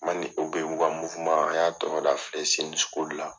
u ka an y'a tɔgɔda la.